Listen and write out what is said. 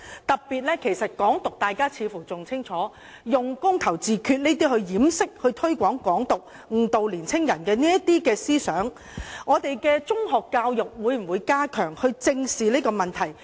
大家似乎對"港獨"更清楚，它是用"公投自決"來掩飾和推廣"港獨"，以誤導年輕人的思想，當局會否加強本港的中學教育，以正視這個問題？